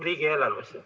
Aeg!